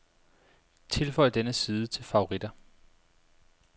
Tilføj denne side til favoritter.